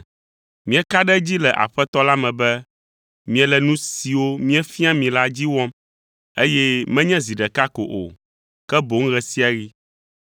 Míeka ɖe edzi le Aƒetɔ la me be miele nu siwo míefia mi la dzi wɔm, eye menye zi ɖeka ko o, ke boŋ ɣe sia ɣi.